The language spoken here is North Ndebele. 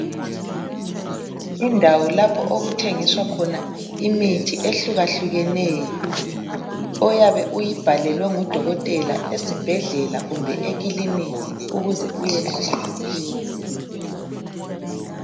Indawo lapho okuthengiswa khona imithi ehlukahlukeneyo , oyabe uyibhalele ngudokothela esi bhedlela kumbe ekiliniki ukuze uyenatha iphele.